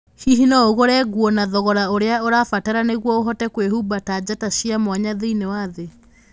Hihi no ũgũre nguo na thogora ũrĩa ũrabatara nĩguo ũhote kwĩhumba ta njata cia mwanya thĩinĩ wa thĩ?